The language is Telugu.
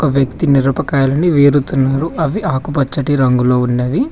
వ్యక్తి మిరపకాయలను వేరుతున్నాడు అవి ఆకుపచ్చటి రంగులో ఉన్నవి.